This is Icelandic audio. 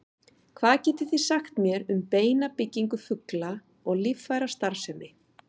Hvað getið þið sagt mér um beinabyggingu fugla og líffærastarfsemi?